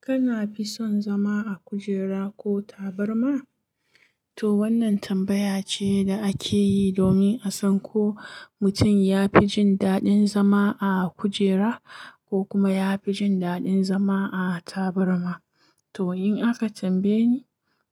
Kana fi son zama a kujera ko tabarma? To wannan tambaya ce da ake yi domin a san ko mutum ya fi jin daɗin zama a kujera ko kuma ya fi jin daɗin zama a tabarma. To in aka tambaye ni,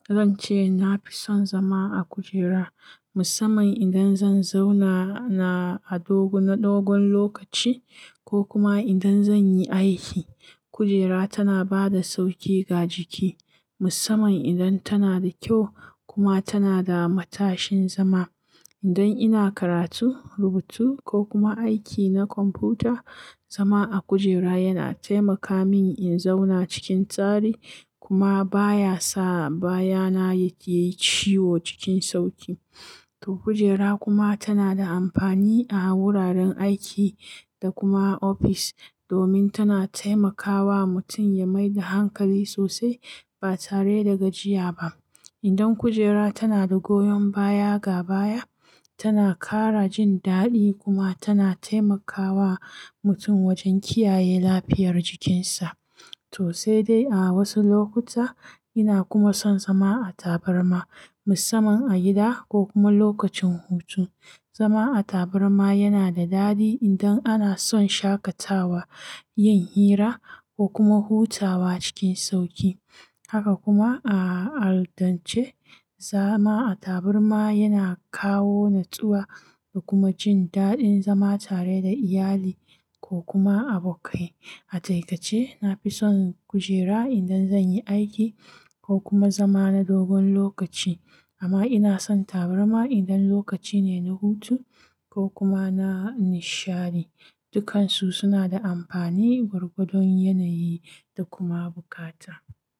zan ce na fi son zama a kujera musamman idan zan zauna na a dogon lokaci ko kuma idan zan yi aiki. Kujera tana ba da sauƙi ga jiki musamman idan tana da kyau kuma tana da matashin zama. Idan ina karatu, rubutu ko kuma aiki na kwamfuta, zama a kujera yana taimaka min in zauna cikin tsari kuma baya sa baya na ya yi ciwo cikin sauƙi. To kujera kuma tana da amfani a wuraren aiki da kuma ofis domin tana taimakawa mutum ya mai da hankali sosai ba tare da gajiya ba. Idan kujera tana da goyon baya ga baya, tana ƙara jin daɗi kuma tana taimakawa mutum wajen kiyaye lafiyar jikinsa. To sai dai a wasu lokuta ina kuma son zama a tabarma musamman a gida ko kuma lokacin hutu. Zama a tabarma yana da daɗi idan ana son shaƙatawa, yin hira ko kuma hutawa cikin sauƙi. Haka kuma a al'adance zama a tabarma yana kawo natsuwa da kuma jin daɗin zama tare da iyali ko kuma abokai. A takaice na fi son kujera idan zan yi aiki ko kuma zama na dogon lokaci amma ina son tabarma idan lokaci ne na hutu ko kuma na nishadi. Dukansu suna da amfani gwargwadon yanayi da kuma bukata.